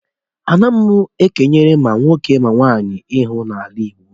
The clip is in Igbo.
Anaghị e kenyere ma nwoke ma nwaanyị ihe n'ala Igbo.